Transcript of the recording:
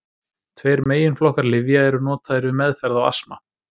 Tveir meginflokkar lyfja eru notaðir við meðferð á astma.